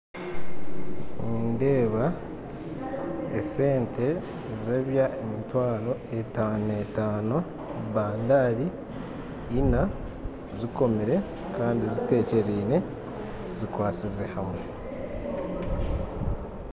Nindeeba esente ez'emitwaro etaano etaano baando ina zikomire kandi zitekyereine zikwasize hamwe